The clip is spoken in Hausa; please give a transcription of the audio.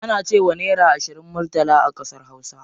Ana cewa naira ashirin murtala a ƙasar hausa.